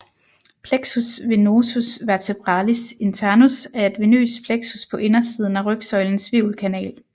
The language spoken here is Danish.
Plexus venosus vertebralis internus er et venøst plexus på indersiden af rygsøjlens hvirvelkanal